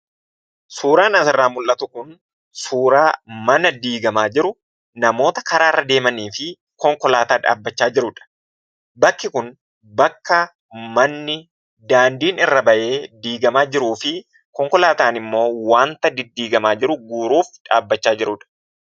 Suuraan asirraa mul'atu kun suuraa mana diigamaa jiru, namoota karaarra deemanii fi konkolaataa dhaabbachaa jirudha. Bakki kun bakka manni daandiin irra ba'ee diigamaa jiruu fi konkolaataan immoo wanta diddiigamaa jiru guuruuf dhaabbachaa jirudha.